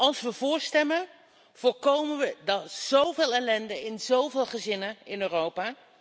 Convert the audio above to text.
Als we voor stemmen voorkomen we zoveel ellende in zoveel gezinnen in Europa.